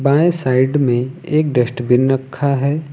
बाएं साइड में एक डस्टबिन रखा है।